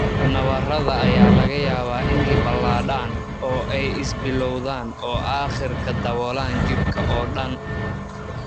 Nabarrada ayaa laga yaabaa inay balaadhaan oo ay is-billowdaan oo aakhirka daboolaan jirka oo dhan.